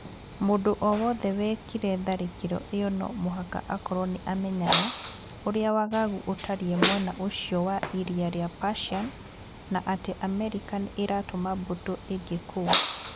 Mũndũ o wothe wĩkĩre tharĩkĩro ĩyo no mũhaka akorũo nĩ aamenyaga ũrĩa wagagu utarie mwena ũcio wa Iria rĩa Persian, na atĩ Amerika nĩ ĩratũma mbũtũ ingĩ kũu